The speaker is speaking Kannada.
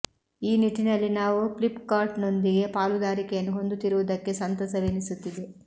ಈ ನಿಟ್ಟಿನಲ್ಲಿ ನಾವು ಫ್ಲಿಪ್ ಕಾರ್ಟ್ ನೊಂದಿಗೆ ಪಾಲುದಾರಿಕೆಯನ್ನು ಹೊಂದುತ್ತಿರುವುದಕ್ಕೆ ಸಂತಸವೆನಿಸುತ್ತಿದೆ